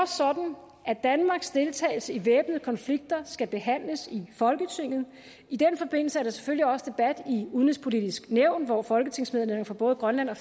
sådan at danmarks deltagelse i væbnede konflikter skal behandles i folketinget i den forbindelse er der selvfølgelig også debat i udenrigspolitisk nævn hvor folketingsmedlemmer fra både grønland og